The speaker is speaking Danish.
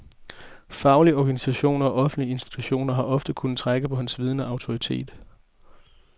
Faglige organisationer og offentlige institutioner har ofte kunnet trække på hans viden og autoritet.